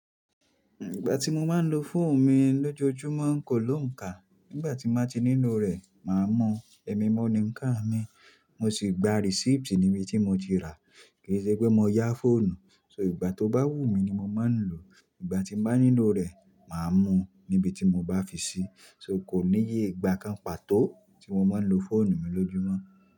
Ìgbà tí mo máa ń lo fóònù mi lójoojúmọ́ kò lóǹkà. Nígbà tí màá ti nílò rẹ̀, màá mọ̀. Ẹ̀mi mo ni ńkàn mi. Mo sì gba receipt níbi tí mo ti rà á. Kì í ṣe pé mo yá fóònù. So ìgbà tó bá wù mí ni mo máa ń lò ó. Ìgbà tí mbàá nílò rẹ̀, màá mọ̀ níbi tí mo bá fi sí. So kò níye ìgbà kan pàtó tí mo máa ń lo fóònù mi lójoojúmọ́.